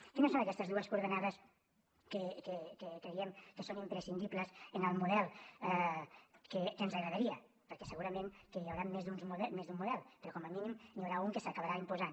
quines són aquestes dues coordenades que creiem que són imprescindibles en el model que ens agradaria perquè segurament que hi haurà més d’un model però com a mínim n’hi haurà un que s’acabarà imposant